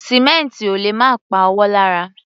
Sìmẹ́ǹtì ò lè má pa ọwọ́ lára.